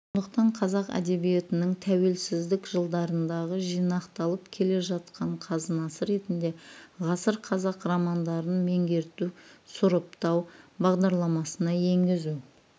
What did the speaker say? сондықтан қазақ әдебиетінің тәуелсіздік жылдарындағы жинақталып келе жатқан қазынасы ретінде ғасыр қазақ романдарын меңгерту сұрыптау бағдарламасына енгізу